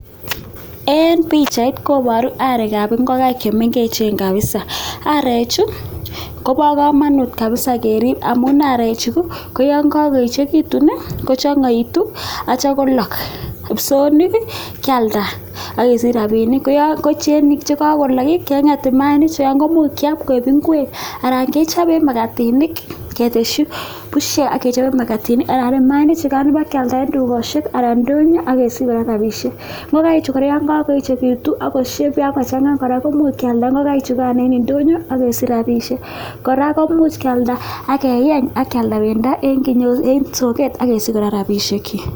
Eng pichait koboru areekab ingokaik chemengechen kapsa, areechu kobo kamanut kapsa keriip amun areechu koyon kakoechekitu kochangaitu atyo kolook, kipsoonik kialda akesich rapinik koyo ngochenik che kakolook kengete mayainik chemuch kiam koek ingwek anan kechope maktinik keteshi pushek ak kechope makatinik. Mayainik chepkialda eng dukeshek anan eng indonyo akesich kora rapinik, ngokaichu yon kakoechekitu ako shepe ako changaa kora komuch kialda ngokaichukan eng indonyo akesich rapisiek, kora komuch kialda ak keeny akialda pendo eng soket akesich kora rapishekchi.